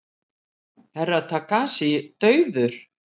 Herra Takashi dauður!